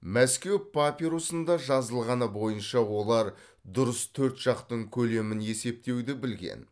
мәскеу папирусында жазылғаны бойынша олар дұрыс төрт жақтың көлемін есептеуді білген